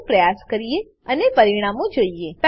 દરેકને પ્રયાસ કરીએ અને પરિણામો જોઈએ